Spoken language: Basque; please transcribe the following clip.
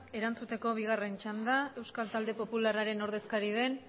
erantzuteko bigarren txanda euskal talde popularraren ordezkari den